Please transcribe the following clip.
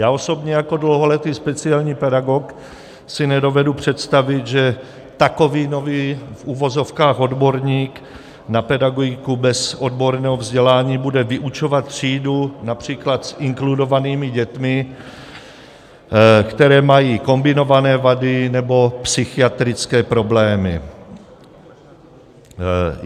Já osobně jako dlouholetý speciální pedagog si nedovedu představit, že takový nový v uvozovkách odborník na pedagogiku bez odborného vzdělání bude vyučovat třídu například s inkludovanými dětmi, které mají kombinované vady nebo psychiatrické problémy.